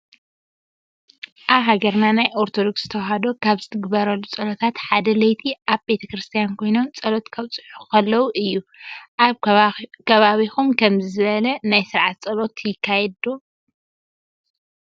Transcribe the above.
አብ ሃገርና ናይ አርቶዶክስ ተዋህዶ ካብ ዝትግብሩሉ ፀሎታት ሓዳ ለይቲ አብ ቤተክርስትያን ኮይኖም ፀሎት ከብፅሑ ከለዎ እዩ። አብ ከባቢኩም ከምዚ ዝበለ ናይ ስርዓተ ፀሎት ይካየድ ዶ?